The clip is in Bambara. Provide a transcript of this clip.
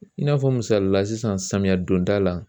I n'a fɔ misalila sisan samiya donda la